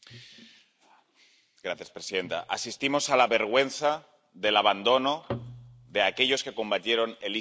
Señora presidenta, asistimos a la vergüenza del abandono de aquellos que combatieron al ISIS en primera línea.